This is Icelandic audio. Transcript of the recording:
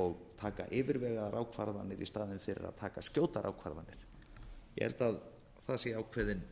og taka yfirvegaðar ákvarðanir í staðinn fyrir að taka skjótar ákvarðanir ég held að það sé